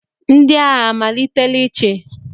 Ndị agha amalitela ịchị?